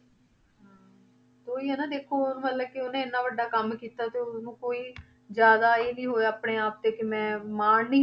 ਉਹੀ ਹੈ ਨਾ ਦੇਖੋ ਮਤਲਬ ਕਿ ਉਹਨੇ ਇੰਨਾ ਵੱਡਾ ਕੰਮ ਕੀਤਾ ਤੇ ਉਹਨੂੰ ਕੋਈ ਜ਼ਿਆਦਾ ਇਹ ਨੀ ਹੋਇਆ ਆਪਣੇ ਆਪ ਤੇ ਕਿ ਮੈਂ ਮਾਣ ਨੀ,